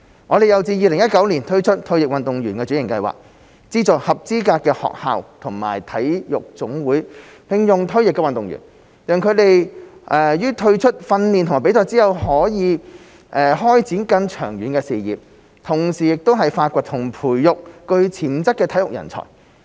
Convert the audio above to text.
我們又自2016年推出退役運動員轉型計劃，資助合資格的學校和體育總會聘用退役運動員，讓他們於退出訓練和比賽後可開展更長遠的事業，同時發掘和培育具潛質的體育人才。